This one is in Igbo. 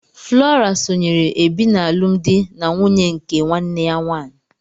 Flora sonyeere Ebi n'alụmdi na nwunye nke nwanne ya nwanyị.